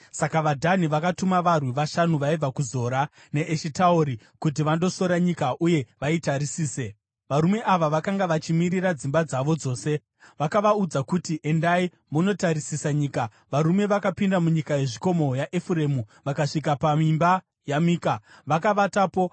Saka vaDhani vakatuma varwi vashanu vaibva kuZora neEshitaori kuti vandosora nyika uye vaitarisise. Varume ava vakanga vachimirira dzimba dzavo dzose. Vakavaudza kuti, “Endai munotarisisa nyika.” Varume vakapinda munyika yezvikomo yaEfuremu vakasvika paimba yaMika, vakavatapo.